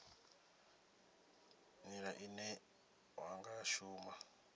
nila ine wa nga shuma